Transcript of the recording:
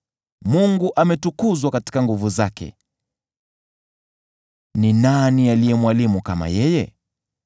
“Mungu ametukuzwa katika nguvu zake. Ni nani aliye mwalimu kama yeye?